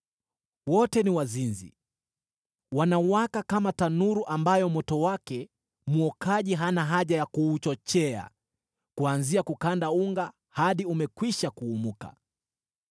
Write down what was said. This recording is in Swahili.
Wote ni wazinzi, wanawaka kama tanuru ambayo moto wake mwokaji hana haja ya kuuchochea kuanzia kukanda unga hadi umekwisha kuumuka.